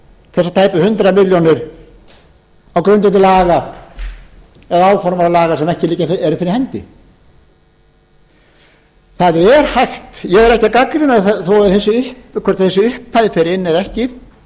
þessar tæpu hundrað milljónir á grundvelli laga eða áformaðra laga sem ekki eru fyrir hendi ég er ekki að gagnrýna það hvort þessi upphæð fer inn eða ekki